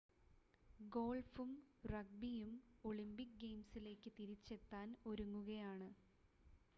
ഗോൾഫും റഗ്‌ബിയും ഒളിമ്പിക് ഗെയിംസിലേക്ക് തിരിച്ചെത്താൻ ഒരുങ്ങുകയാണ്